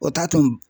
O t'a to